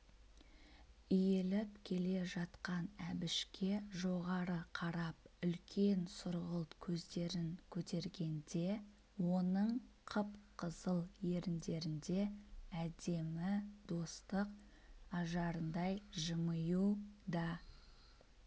иіліп келе жатқан әбішке жоғары қарап үлкен сұрғылт көздерін көтергенде оның қып-қызыл еріндерінде әдемі достық ажарындай жымию да